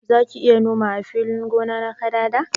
Zaki iya noma ã filin gona na kadada?